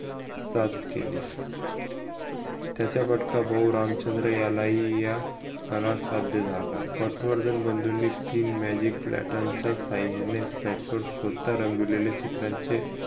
सात केली त्याचा फटका बहू रामचंद्र याला ही या कला साध्य झाला पटवर्धन बंधूनी तीन magicpattern साहाय्याने स्वतः रंगवलेले चित्रांचे